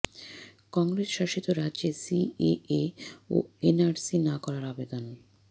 কংগ্রেস শাসিত রাজ্যে সিএএ ও এনআরসি না করার আবেদন